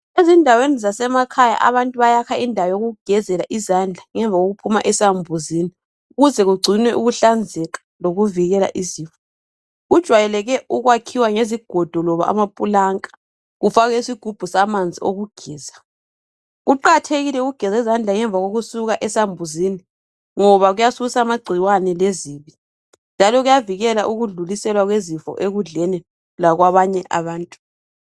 Ezindaweni zasemakhaya, abantu bayakha indawo zokugezela izandla ngemva kokuphuma esambuzini, kuze kugcinwe ukuhlanzeka lokuvikela izifo. Kujwayeleke ukwakhiwa ngezigodo loba amapulanka kufakwe isigubhu samanzi okugeza. Kuqakathekile ukugeza izandla ngemva kokusuka esambuzini ngoba kuyasusa amagcikwane lezifo njalo kuyadlulisela ekudleni lakwabanye abantu.